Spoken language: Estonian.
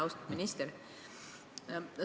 Austatud minister!